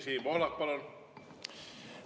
Siim Pohlak, palun!